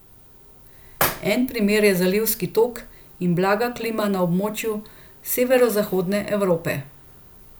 En primer je zalivski tok in blaga klima na območju Severozahodne Evrope.